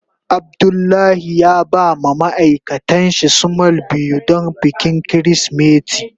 Abdullahi ya ba ma ma'aikatan shi small biyu don bikin kirisimeti.